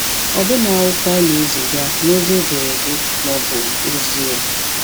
Ọbụna okwu anyị na-eziga na ozi ederede ma ọ bụ ozi-e.